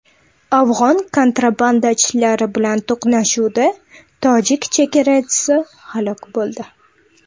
Afg‘on kontrabandachilari bilan to‘qnashuvda tojik chegarachisi halok bo‘ldi.